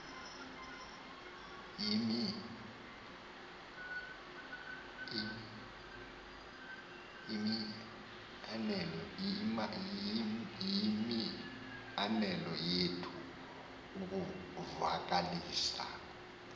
yimianelo yethu ukumvakalisa